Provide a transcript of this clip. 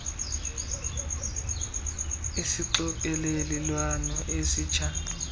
sidinga isixokelelwano esitsha